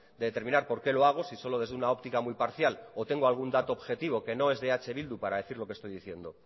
de determinar por qué lo hago si solo desde una óptica muy parcial o tengo algún dato objetivo que no es de eh bildu para decir lo que estoy diciendo